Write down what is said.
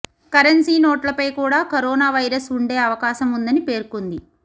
currency నోట్లపై కూడా corona virus ఉండే అవకాశం ఉందని పేర్కొంది